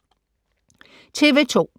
TV 2